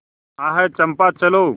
आह चंपा चलो